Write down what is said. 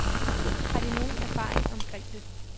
Har de nogen erfaring omkring det.